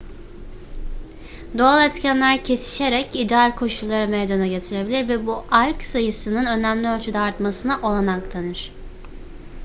doğal etkenler kesişerek ideal koşulları meydana getirebilir ve bu alg sayısının önemli ölçüde artmasına olanak tanır